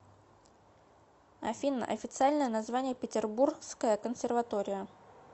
афина официальное название петербургская консерватория